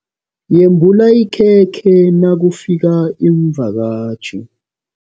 Yembula ikhekhe nakufika iimvakatjhi.